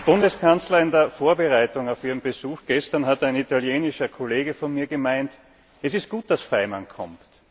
Herr Bundeskanzler, in der Vorbereitung auf Ihren Besuch gestern hat ein italienischer Kollege von mir gemeint Es ist gut, dass Faymann kommt.